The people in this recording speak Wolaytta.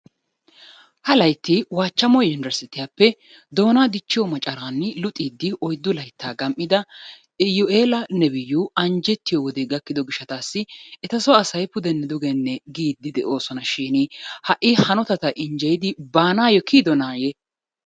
Ha layitti waachchamo yunbersitiyappe doonaa dichchiyo macaraani luxiiddi oyiddu layittaa gam'ida iyuela nebiyu anjjettiyo wodee gakkidi gishshataassi etasoo asay pudenne dugenne giidi doosonashin ha'i hanotata injjeyidi baanaayyo kiyidonaayye?